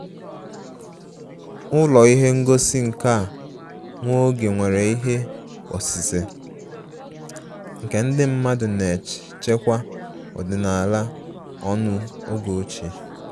Ụlọ ihe ngosi nka nwa oge nwere ihe osise nke ndị mmadụ na-echekwa ọdịnala ọnụ oge ochie